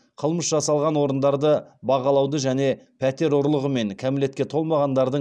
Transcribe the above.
қылмыс жасалған орындарды бағалауды және пәтер ұрлығы мен кәмелетке толмағандардың